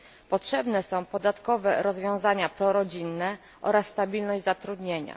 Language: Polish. Potrzebne są podatkowe rozwiązania prorodzinne oraz stabilność zatrudnienia.